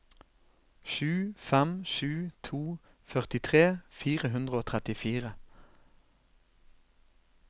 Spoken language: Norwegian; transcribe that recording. sju fem sju to førtitre fire hundre og trettifire